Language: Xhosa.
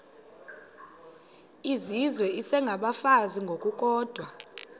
izizwe isengabafazi ngokukodwa